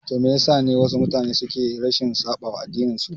Toh wai Me yasa ne wasu mutane suke rashin saɓawa addinin su?